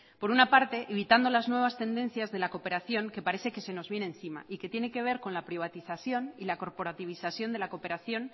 por una parte evitando las nuevas tendencias de la cooperación que parece que se nos viene encima y que tiene que ver con la privatización y la corporativización de la cooperación